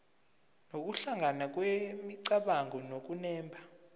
nokuhlangana kwemicabango nokunemba